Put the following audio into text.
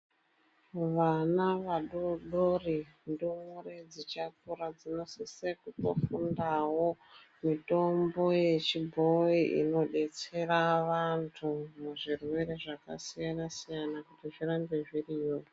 Vana vadodori ndumure dzichakura dzinosisira kunofundawo mitombo yechibhoyi inodetsera vantu muzvirwere zvakasiyana siyana kuti zvirambe zviriyo.